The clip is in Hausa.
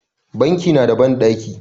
Banki na da banɗaki